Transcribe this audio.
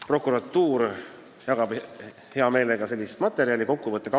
Prokuratuur jagab sellist materjali hea meelega.